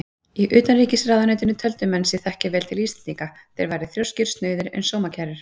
Í utanríkisráðuneytinu töldu menn sig þekkja vel til Íslendinga: þeir væru þrjóskir, snauðir en sómakærir.